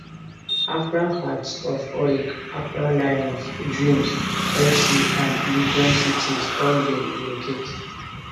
accra hearts of oak accra lions dreams fc and legon cities all bin relocate